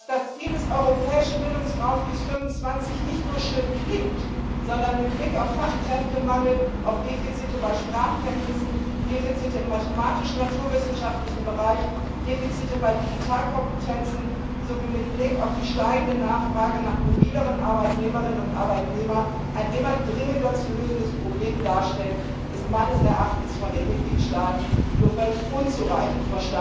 Dass das Ziel des Europäischen Bildungsraumes bis 2025 nicht nur schön klingt, sondern mit Blick auf Fachkräftemangel, auf Defizite bei Sprachkenntnissen, Defizite im mathematisch naturwissenschaftlichen Bereich, Defizite bei Digitalkompetenzen sowie mit Blick auf die steigende Nachfrage nach mobileren Arbeitnehmerinnen und Arbeitnehmern ein immer dringender zu lösendes Problem darstellt, ist meines Erachtens von den Mitgliedstaaten nur völlig unzureichend